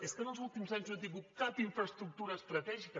és que en els últims anys no han tingut cap infraestructura estratègica